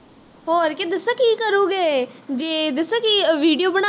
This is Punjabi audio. ਹੋਰ ਕੀ ਦੱਸਾਂ ਕੀ ਕਰੋਗੇ ਜੇ ਦੱਸਾਂ ਕਿ video ਬਣਾ ਕੇ